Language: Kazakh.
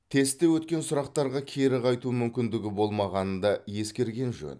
тестте өткен сұрақтарға кері қайту мүмкіндігі болмағанын да ескерген жөн